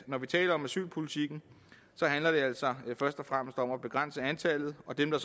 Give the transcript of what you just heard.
når vi taler om asylpolitikken først og fremmest handler om at begrænse antallet og dem der